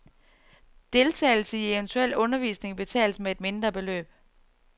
Deltagelse i eventuel undervisning betales med et mindre beløb.